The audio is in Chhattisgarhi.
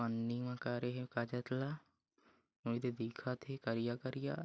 पन्नी म करे हे ला उइदे दिखत हे करिया-करिया--